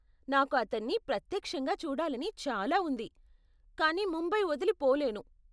నాకు అతన్ని ప్రత్యక్షంగా చూడాలని చాలా ఉంది, కానీ ముంబై వదిలి పోలేను.